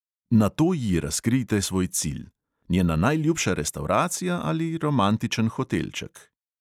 Nato ji razkrijte svoj cilj: njena najljubša restavracija ali romantičen hotelček.